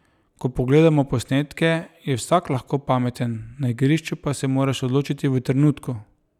Ko pogledamo posnetke, je vsak lahko pameten, na igrišču pa se moraš odločiti v trenutku.